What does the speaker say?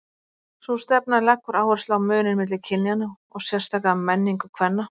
Sú stefna leggur áherslu á muninn milli kynjanna og sérstaka menningu kvenna.